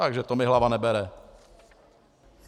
Takže to mi hlava nebere.